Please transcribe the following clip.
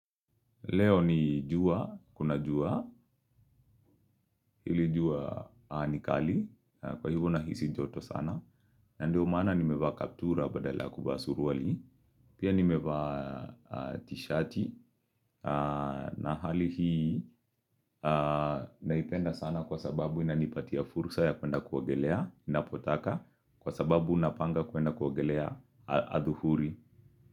Leo ni jua, kuna jua, hili jua nikali, kwa hivo nahisi joto sana, na ndio maana nimevaa kaptura badala ya kuvaa suruali, pia nimevaa tishati, na hali hii naipenda sana kwa sababu inanipatia fursa ya kwenda kuogelea, inapotaka, kwa sababu na panga kwenda kuogelea adhuhuri.